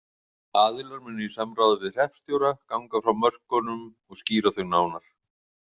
Aðilar munu í samráði við Hreppstjóra ganga frá mörkunum og skýra þau nánar.